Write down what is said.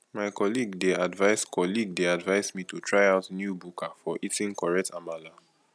my colleague dey advise colleague dey advise me to try out new buka for eating correct amala